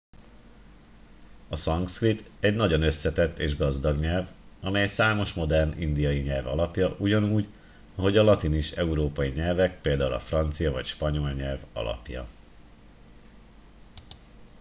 a szanszkrit egy nagyon összetett és gazdag nyelv amely számos modern indiai nyelv alapja ugyanúgy ahogy a latin is európai nyelvek például a francia vagy spanyol nyelv alapja